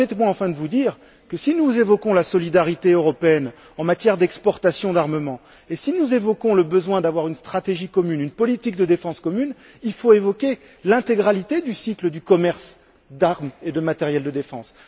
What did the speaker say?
Permettez moi enfin de vous dire que, si nous évoquons la solidarité européenne en matière d'exportations d'armements et si nous évoquons le besoin d'avoir une stratégie commune, une politique de défense commune, il faut évoquer l'intégralité du cycle du commerce d'armes et de matériel de défense.